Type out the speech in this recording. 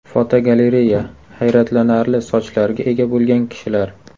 Fotogalereya: Hayratlanarli sochlarga ega bo‘lgan kishilar.